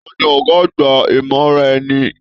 Taní ọgá àgbà imọraẹ̀ni?